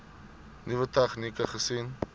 nuwe tegnieke gesien